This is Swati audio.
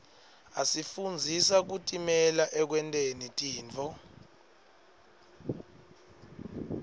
asifundzisa kutimela ekwenteni tintfo